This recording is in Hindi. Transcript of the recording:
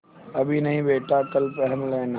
अभी नहीं बेटा कल पहन लेना